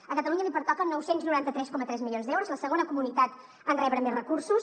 a catalunya li pertoquen nou cents i noranta tres coma tres milions d’euros la segona comunitat en rebre més recursos